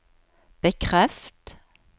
bekreft